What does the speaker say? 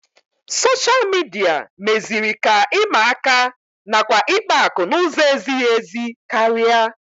Soshal midia meziri ka ịma aka nakwa ikpa akụ n'ụzọ ezighị ezi karịa